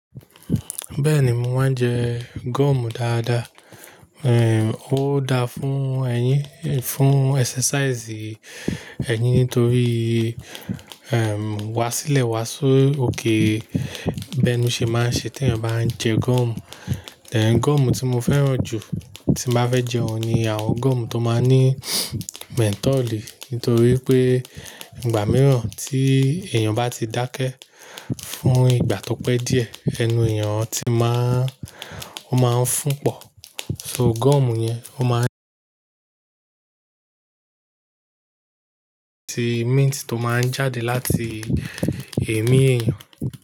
Bẹ́ẹ̀ni, mo máa ń jẹ gum dáadáa. Eh, ó da fún ẹyín, fún exercise ẹyín nítorí, ehm, wá sílẹ̀ wá sí òkè. Bi enu sey ṣe máa ń ṣe tí ẹni bá ń jẹ gum. Ehn, gum tí mo fẹ́ràn jù tí mo bá fẹ́ jẹ òun ni àwọn gum tó máa ní mentol nítorí pé ìgbà mìíràn tí èèyàn bá ti dákẹ́ fún ìgbà tó pẹ́ díẹ̀, ẹnu èèyàn ti máa, ó máa ń fún pọ̀. So gum yẹn ó máa ń ṣe mint tó máa ń jáde láti èémí èèyàn.